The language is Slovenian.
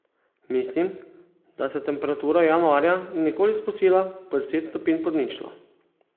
Mislim, da se temperatura januarja ni nikoli spustila pod deset stopinj pod ničlo.